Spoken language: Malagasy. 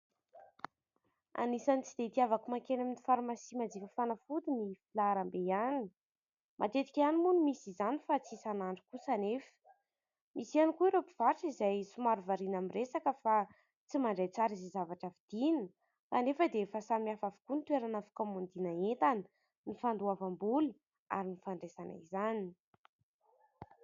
Anisany tsy dia itiavako mankeny amin'ny farmasia manjifa fanafody ny filahram-be any. Matetika ihany moa no misy izany fa tsy isanandro kosa anefa. Misy ihany koa ireo mpivarotra izay somary variana miresaka fa tsy mandray tsara izay zavatra vidiana anefa dia efa samy hafa avokoa ny toerana fikaomandiana entana ny fandoavam-bola ary ny fandraisana izany.